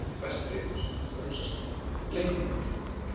Kynlíf er besti leikur sem hægt er að hugsa sér- leikum okkur!